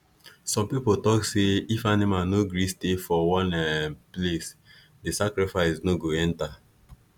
some people tok say if animal no gree stay for one um place the sacrifice no go enter